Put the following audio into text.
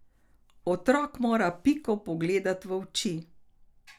Otrok mora Piko pogledati v oči!